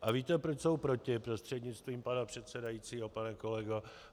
A víte, proč jsou proti, prostřednictvím pana předsedajícího pane kolego?